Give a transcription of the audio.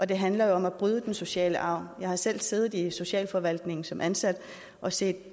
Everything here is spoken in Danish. det handler jo om at bryde den sociale arv jeg har selv siddet i socialforvaltningen som ansat og set